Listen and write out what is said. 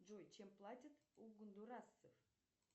джой чем платят у гондурасцев